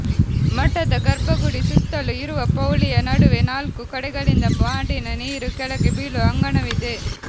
ಮಠದ ಗರ್ಭಗುಡಿ ಸುತ್ತಲೂ ಇರುವ ಪೌಳಿಯ ನಡುವೆ ನಾಲ್ಕೂ ಕಡೆಗಳಿಂದ ಮಾಡಿನ ನೀರು ಕೆಳಗೆ ಬೀಳುವ ಅಂಗಣವಿದೆ